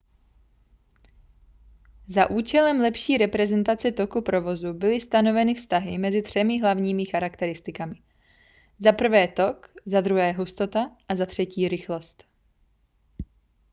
za účelem lepší reprezentace toku provozu byly stanoveny vztahy mezi třemi hlavními charakteristikami: 1 tok 2 hustota a 3 rychlost